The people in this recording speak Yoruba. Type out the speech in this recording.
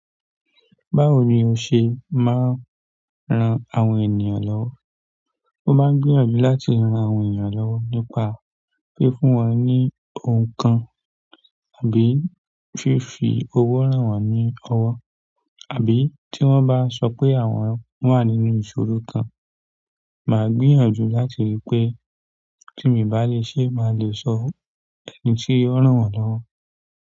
Báwo ni o ṣe máa ń ran àwọn ènìyàn lọ́wọ́? Mo máa ń gbìyànjú láti ràn àwọn ènìyàn lọ́wọ́ nípa fífún wọn ní ohùn kan tàbí fífi owó ràn wọ́n ní ọwọ́. Àbí tí wọ́n bá sọ pé àwọn wà nínú ìṣòro kan, màá gbìyànjú láti rí pé tí miì bá lè ṣe, màá lè sọ fún ẹni tí yóò rán wọn lọ́wọ́.